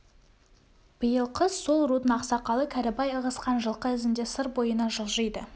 биыл қыс сол рудың ақсақалы кәрібай ығысқан жылқы ізінде сыр бойына жылжиды